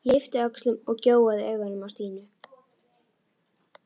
Ég yppti öxlum og gjóaði augunum á Stínu.